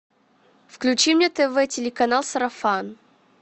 включи мне тв телеканал сарафан